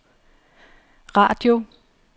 radio